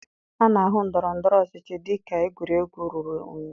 A na-ahụ ndọrọ ndọrọ ọchịchị dị ka egwuregwu ruru unyi